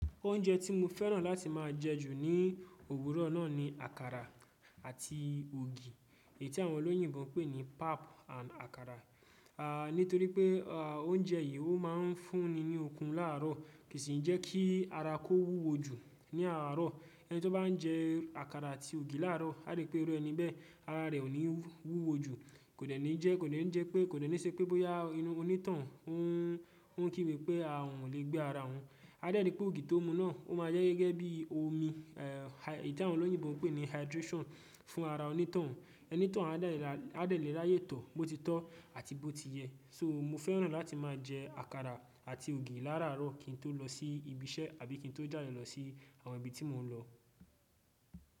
Oúnjẹ tí mo fẹ́ràn láti máa jẹ jù ní òwúrọ̀ náà ni àkàrà àti ògì, èyí tí àwọn olóyìnbo ń pè ní pap and àkàrà. À nítorí pé à oúnjẹ yìí ó máa ń fún ni ní okun láàárọ̀ kì í sì jẹ́ kí ara kó wúwo jù ní àárọ̀. Ẹni tí ó bá ń jẹ àkàrà àti ògì láàárọ̀, a rí pé irú ẹni bẹ́ẹ ara rẹ̀ ò ní wúwo jù. Kò dẹ̀ ní jẹ́, kò dẹ̀ ní jẹ pé, kò dẹ̀ ní ṣe pé bóyá inú onítoun ó ń kí gbe pé a òhun o lè gbé ara òhun. A dẹ̀ rí pé ògì tó mu náà ó máa jẹ́ gẹ́gẹ́ bí i omi, è èyí tí àwọn olóyìnbo ń pè ní hydration fún ara onítàn. Ẹni tòun a dẹ̀ lè ráyè tọ̀, bó ti tọ́ àti bó ti yẹ. So mo fẹ́ràn láti máa jẹ àkàrà àti ògì láàárọ̀ kí n tó lọ sí ibi iṣẹ́ àbí kí n tó jáde lọ sí àwọn ibi tí mò ń lọ.